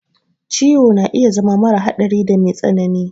Ciwo na iya zama mara hadari da me tsanani.